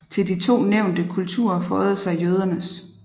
Til de to nævnte kulturer føjede sig jødernes